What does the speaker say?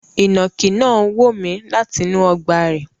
Ìnànkí náà wo mi látinú ogbà rẹ̀